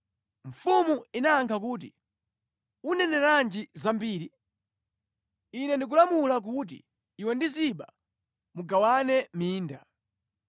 Mfumu inayankha kuti, “Uneneranji zambiri? Ine ndikulamula kuti iwe ndi Ziba mugawane minda.”